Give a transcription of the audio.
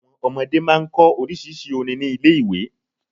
Àwon ọmọdé máa n kọ orísírìsí orin ni Ilé iwe